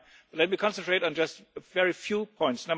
Let me concentrate on just a very few points.